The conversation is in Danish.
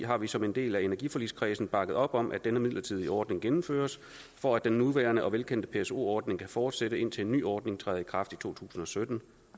har vi som en del af energiforligskredsen bakket op om at denne midlertidige ordning gennemføres for at den nuværende og velkendte pso ordning kan fortsætte indtil en ny ordning træder i kraft i to tusind og sytten